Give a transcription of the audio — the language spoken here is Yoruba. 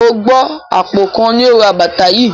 O gbọ́ àpò kan ni ó ra bàtà yìí?